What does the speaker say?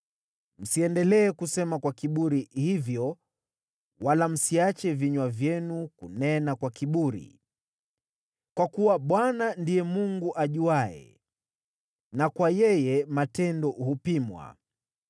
“Msiendelee kusema kwa kiburi hivyo wala msiache vinywa vyenu kunena kwa kiburi, kwa kuwa Bwana ndiye Mungu ajuaye, na kwa yeye matendo hupimwa.